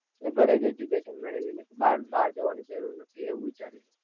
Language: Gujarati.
એટલે ઘરે જ education મળેવી લે બાર બાર જવાની જરૂર નથી એવું વિચારી ને